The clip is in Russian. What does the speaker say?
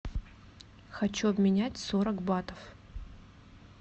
хочу обменять сорок батов